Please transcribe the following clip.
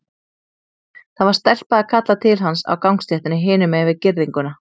Það var stelpa að kalla til hans á gangstéttinni hinum megin við girðinguna.